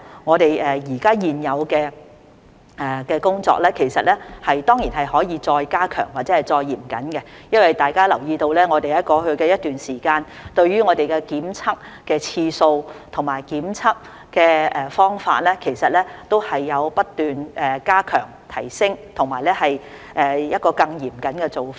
我們現有的工作當然可以再加強或更加嚴謹；大家也留意到，在過去一段時間，我們對於檢測的次數和方法都有不斷加強、提升，並採取更嚴謹的做法。